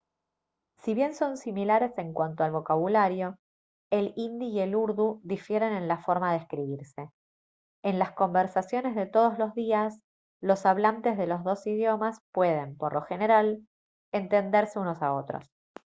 si bien son similares en cuanto al vocabulario el hindi y el urdu difieren en la forma de escribirse en las conversaciones de todos los días los hablantes de los dos idiomas pueden por lo general entenderse unos a otros